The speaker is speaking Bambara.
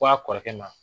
Ko a kɔrɔkɛ ma